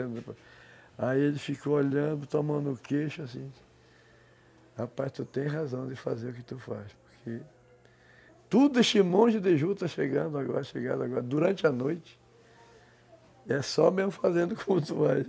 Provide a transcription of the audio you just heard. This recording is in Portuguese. Aí ele ficou olhando, botou a mão no queixo, assim... Rapaz, tu tem razão de fazer o que tu faz, porque... Tudo este monte de juta chegando agora, chegando agora, durante a noite, é só mesmo fazendo como tu faz.